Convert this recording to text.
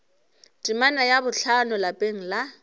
temana ya bohlano lapeng la